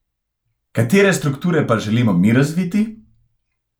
Katere strukture pa želimo mi razviti?